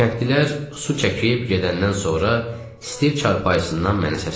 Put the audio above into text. Kəndlilər su çəkib gedəndən sonra Stiv çarpayısından mənə səsləndi.